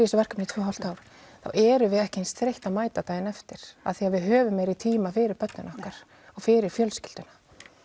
þessu verkefni í tvö ár þá erum við ekki eins þreytt að mæta daginn eftir af því að við höfum meiri tíma fyrir börnin okkar og fyrir fjölskylduna